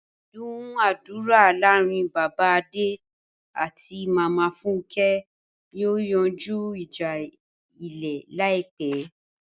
Ìdúnàádúrà láàrin Bàbá Adé àti Màmá Fúnkẹ́ yóò yanjú ìjà Ilẹ̀ láìpẹ́.